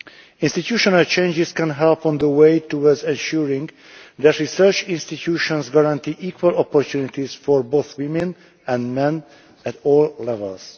Institutional changes can help on the way towards assuring that research institutions guarantee equal opportunities for both women and men at all levels.